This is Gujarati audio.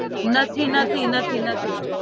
નથી નથી નથી નથી